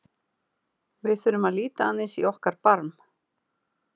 Við þurfum að líta aðeins í okkar barm.